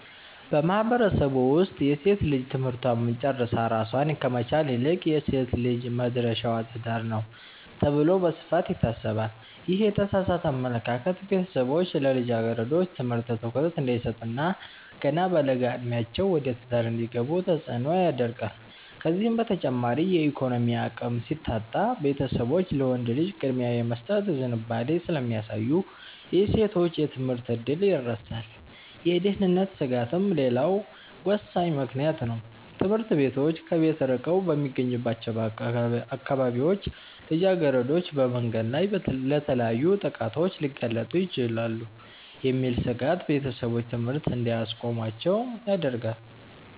በማህበረሰቡ ውስጥ ሴት ልጅ ትምህርቷን ጨርሳ ራሷን ከመቻል ይልቅ "የሴት ልጅ መድረሻዋ ትዳር ነው" ተብሎ በስፋት ይታሰባል። ይህ የተሳሳተ አመለካከት ቤተሰቦች ለልጃገረዶች ትምህርት ትኩረት እንዳይሰጡ እና ገና በለጋ ዕድሜያቸው ወደ ትዳር እንዲገቡ ተጽዕኖ ያደርጋል። ከዚህም በተጨማሪ የኢኮኖሚ አቅም ሲታጣ፣ ቤተሰቦች ለወንድ ልጅ ቅድሚያ የመስጠት ዝንባሌ ስለሚያሳዩ የሴቶች የትምህርት ዕድል ይረሳል። የደህንነት ስጋትም ሌላው ወሳኝ ምክንያት ነው፤ ትምህርት ቤቶች ከቤት ርቀው በሚገኙባቸው አካባቢዎች ልጃገረዶች በመንገድ ላይ ለተለያዩ ጥቃቶች ሊጋለጡ ይችላሉ የሚል ስጋት ቤተሰቦች ትምህርት እንዲያስቆሟቸው ያደርጋል።